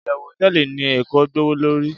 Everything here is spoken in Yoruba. iyewu hoteeli ni eko gbowolori